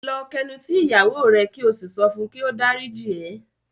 Lọ k'ẹnu sí ìyàwó rẹ ki o sí sọfún ki o d'áríjì ẹ!